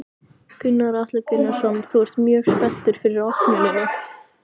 Gunnar Atli Gunnarsson: Þú ert mjög spenntur fyrir opnuninni?